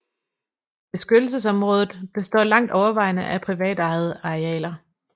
Beskyttelsesområdet består langt overvejende af privatejede arealer